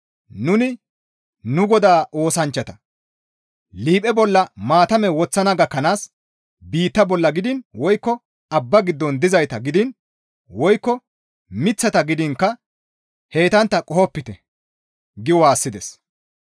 «Nuni nu Godaa oosanchchata liiphe bolla maatame woththana gakkanaas biitta bolla gidiin woykko abba giddon dizayta gidiin woykko Miththata gidiinkka heytantta qohopite» gi waassides.